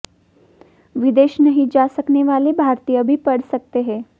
विदेश नहीं जा सकने वाले भारतीय भी पढ़ सकते हैं